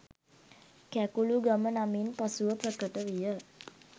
කැකුළුගම නමින් පසුව ප්‍රකට විය